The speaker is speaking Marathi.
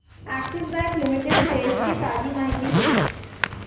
अॅक्सिस बँक लिमिटेड शेअर्स ची ताजी माहिती दे